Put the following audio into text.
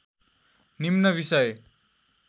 निम्न बिषय